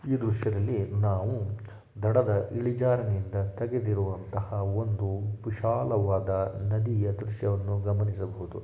ಈ ದೃಶ್ಯದಲ್ಲಿ ನಾವು ದಡದ ಇಳಿಜಾರಿನಿಂದ ತೆಗೆದಿರುವಂತಹ ಒಂದು ವಿಶಾಲವಾದ ನದಿಯ ದೃಶ್ಯವನ್ನು ಗಮನಿಸಬಹುದು .